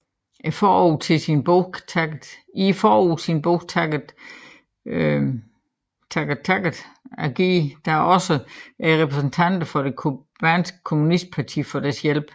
I forordet til sin bog takkede takkede Agee da også repræsentanter for det cubanske kommunistparti for deres hjælp